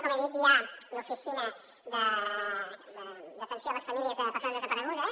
com he dit hi ha l’oficina d’atenció a les famílies de persones desaparegudes